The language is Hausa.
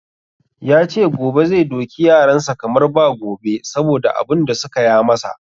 Ya ce gobe zai doki yaran sa kamar ba gobe saboda abun da suka ya masa.